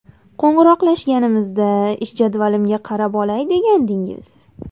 Qo‘ng‘iroqlashganimizda ish jadvalimga qarab olay degandingiz?